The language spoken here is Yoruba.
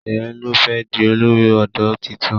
Sheye ló fé di olórí odò títún